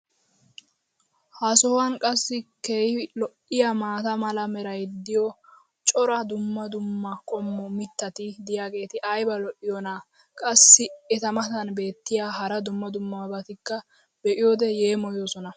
ha sohuwan qassi keehi lo'iyaa maata mala meray diyo cora dumma dumma qommo mitati diyaageti ayba lo'iyoonaa? qassi eta matan beetiya hara dumma dummabatikka be'iyoode yeemmoyoosona.